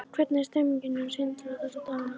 Hvernig er stemmningin hjá Sindra þessa dagana?